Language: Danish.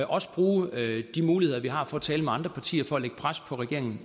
også bruge de muligheder vi har for at tale med andre partier for derved at lægge pres på regeringen